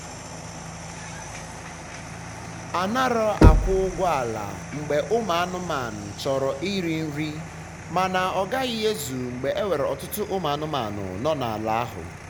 anara akwụ ụgwọ ala mgbe ụmụ anụmanụ chọrọ iri nrimana ọgahi ezu mgbe enwere ọtụtụ ụmụ anụmanụ na na ala ahu